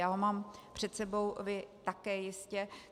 Já ho mám před sebou, vy také jistě.